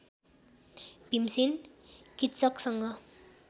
Bhimsen किच्चकसँग